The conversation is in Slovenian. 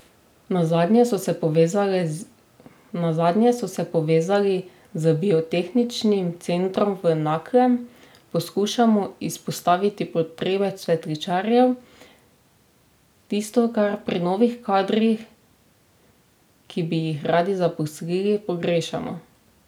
Nazadnje so se povezali z biotehničnim centrom v Naklem: 'Poskušamo izpostaviti potrebe cvetličarjev, tisto, kar pri novih kadrih, ki bi jih radi zaposlili, pogrešamo.